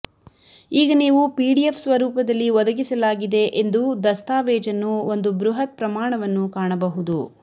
ಈಗ ನೀವು ಪಿಡಿಎಫ್ ಸ್ವರೂಪದಲ್ಲಿ ಒದಗಿಸಲಾಗಿದೆ ಎಂದು ದಸ್ತಾವೇಜನ್ನು ಒಂದು ಬೃಹತ್ ಪ್ರಮಾಣವನ್ನು ಕಾಣಬಹುದು